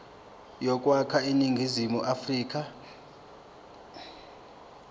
yokwakha iningizimu afrika